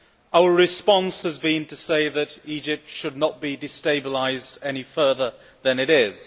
Our response has been to say that Egypt should not be destabilised any further than it is